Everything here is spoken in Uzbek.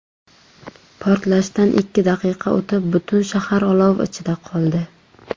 Portlashdan ikki daqiqa o‘tib butun shahar olov ichida qoldi.